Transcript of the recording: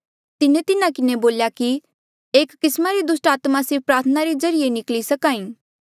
तिन्हें तिन्हा किन्हें बोल्या कि एस किस्मा री दुस्टात्मा सिर्फ प्रार्थना रे ज्रीए ई निकली सक्हा ई